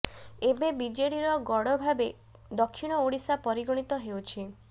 ଏବେ ବିେଜଡିର ଗଡ଼ ଭାବେ ଦକ୍ଷିଣ ଓଡ଼ିଶା ପରିଗଣିତ େହଉଛି